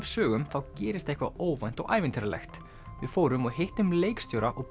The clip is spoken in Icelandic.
sögum þá gerist eitthvað óvænt og ævintýralegt við fórum og hittum leikstjóra og